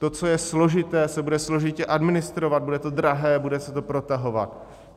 To, co je složité, bude se složitě administrovat, bude to drahé, bude se to protahovat.